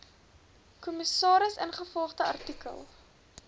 kommissaris ingevolge artikel